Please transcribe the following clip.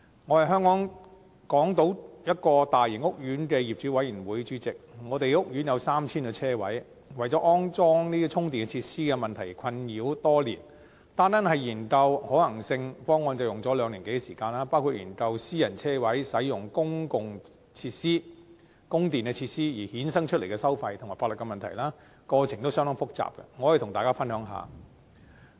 我是港島一個大型屋苑的業主委員會主席，我們的屋苑有 3,000 個車位，為了安裝充電設施的問題而困擾多年，單單是研究可行性方案便花了兩年多時間，包括研究私人車位使用公用供電設施而衍生的收費及法律問題，過程相當複雜，這點我可以與大家分享。